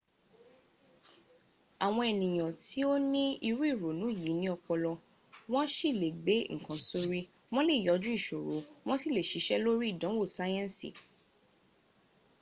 àwọn ènìyàn tó ní irú ìrònú yìí ní ọpọlọ wọ́n sì lè gbé ǹkan sórí wọ́n lè yànjú ìṣòro wọ́n sì lè ṣiṣẹ́ lórí ìdánwò síẹ́nsì